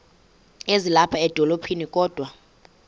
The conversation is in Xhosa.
ezilapha edolophini kodwa